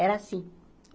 Era assim.